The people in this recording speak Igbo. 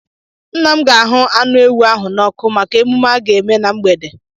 Nna m ga-ahụ anụ ewu ahụ n'ọkụ maka emume a ga-eme na mgbede.